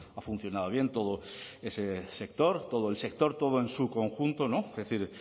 ha funcionado bien todo ese sector todo el sector todo en su conjunto es decir